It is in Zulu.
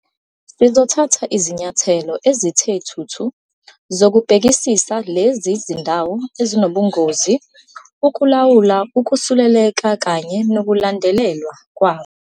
"Sizothatha izinyathelo ezithe thuthu zokubhekisisa lezi zindawo ezinobungozi, ukulawula ukusuleleka kanye nokulandelelwa kwakho."